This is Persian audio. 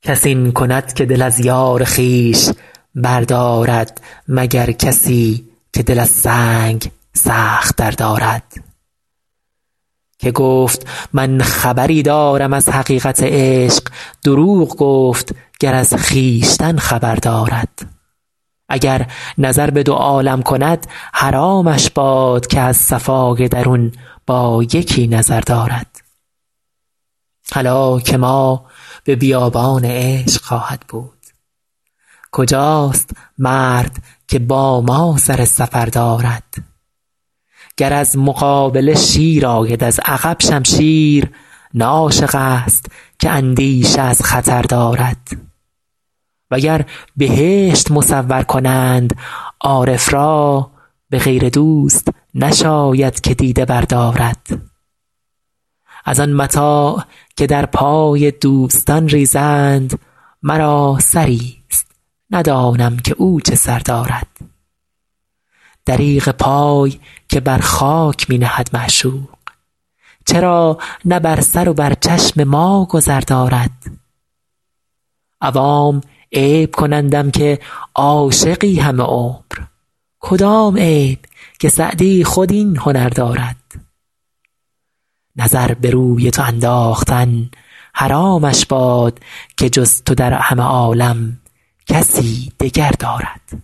کس این کند که دل از یار خویش بردارد مگر کسی که دل از سنگ سخت تر دارد که گفت من خبری دارم از حقیقت عشق دروغ گفت گر از خویشتن خبر دارد اگر نظر به دو عالم کند حرامش باد که از صفای درون با یکی نظر دارد هلاک ما به بیابان عشق خواهد بود کجاست مرد که با ما سر سفر دارد گر از مقابله شیر آید از عقب شمشیر نه عاشق ست که اندیشه از خطر دارد و گر بهشت مصور کنند عارف را به غیر دوست نشاید که دیده بردارد از آن متاع که در پای دوستان ریزند مرا سری ست ندانم که او چه سر دارد دریغ پای که بر خاک می نهد معشوق چرا نه بر سر و بر چشم ما گذر دارد عوام عیب کنندم که عاشقی همه عمر کدام عیب که سعدی خود این هنر دارد نظر به روی تو انداختن حرامش باد که جز تو در همه عالم کسی دگر دارد